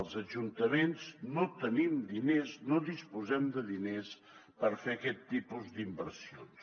els ajuntaments no tenim diners no disposem de diners per fer aquest tipus d’inversions